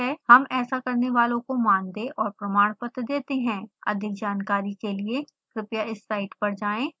हम ऐसा करने वालों को मानदेय और प्रमाण पत्र देते हैं अधिक जानकारी के लिए कृपया इस साइट पर जाएं